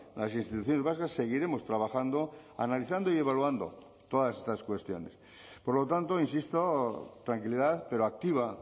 las instituciones vascas seguiremos trabajando analizando y evaluando todas estas cuestiones por lo tanto insisto tranquilidad pero activa